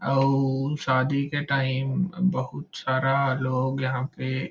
अऊ शादी के टाइम बहुत सारा लोग यहाँ पे--